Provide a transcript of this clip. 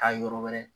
Taa yɔrɔ wɛrɛ